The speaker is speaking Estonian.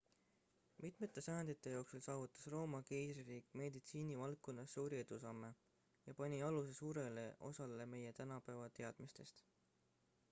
mitmete sajandite jooksul saavutas rooma keisririik meditsiini valdkonnas suuri edusamme ja pani aluse suurele osale meie tänapäeva teadmistest